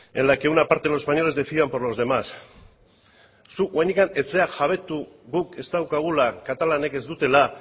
en la que una parte de los españoles decidan por los demás zuk oraindik ez zera jabetu guk ez daukagula katalanek ez dutela